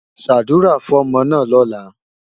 Ṣàdúrà fọ́mọ náà lọ́la!